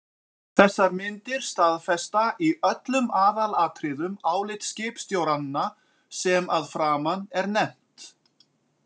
Þessar myndir staðfesta í öllum aðalatriðum álit skipstjóranna sem að framan er nefnt.